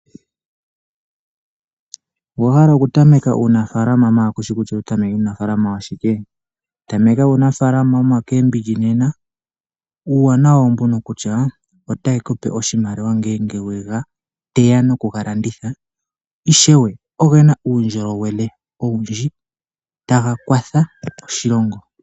Owa hala oku tameka uunafaalama maala kushi kutya owahala oku tameka uunafaalama washike? Tameka niikwamboga nena. Uuwanawa owo mbuno kutya otayi kupe oshimaliwa ngele weyi teya nokuyilanditha. Ishewe ogena uundjolowele owundji, taga kwatha oshilongo.